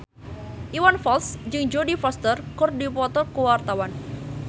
Iwan Fals jeung Jodie Foster keur dipoto ku wartawan